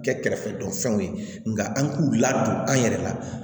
Kɛ kɛrɛfɛdɔ fɛnw ye nka an k'u ladon an yɛrɛ la